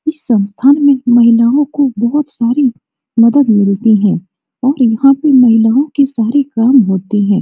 इस संस्थान में महिलाओं को बहुत सारी मदद मिलती है और यहाँ पे महिलाओं के सारे काम होते है।